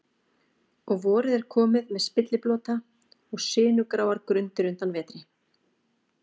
Og vorið er komið með spilliblota og sinugráar grundir undan vetri.